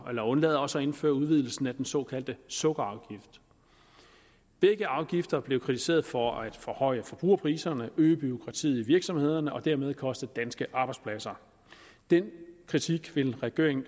og undlader også at indføre udvidelsen af den såkaldte sukkerafgift begge afgifter blev kritiseret for at forhøje forbrugerpriserne øge bureaukratiet i virksomhederne og dermed koste danske arbejdspladser den kritik vil regeringen